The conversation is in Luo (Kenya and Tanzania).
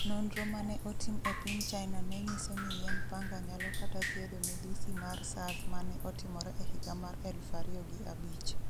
Nonro mane otim e piny China nenyiso ni yiend Panga nyalo kata thiedho midhusi mar Sars mane otimore e higa mar 2005.